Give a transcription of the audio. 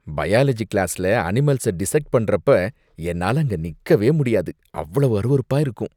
Biology கிளாஸ்ல அனிமல்ஸ dissect பண்றப்ப என்னால அங்க நிக்கவே முடியாது, அவ்வளவு அருவருப்பா இருக்கும்.